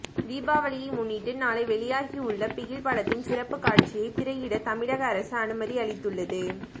தீபாவளியை முன்னிட்டு நாளை வெளியாகிவுள்ள பிகில் படத்தின் சிறப்புக் காட்சியை திரையிட தமிழக அரசு அனுமதி அளித்துள்ளது